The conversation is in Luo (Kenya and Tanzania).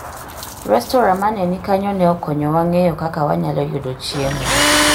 restora ma ne ni kanyo ne okonyowa ng'eyo kaka wanyalo yudo chiemo